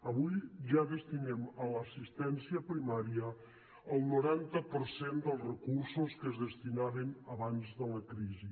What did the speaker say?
avui ja destinem a l’assistència primària el noranta per cent dels recursos que es destinaven abans de la crisi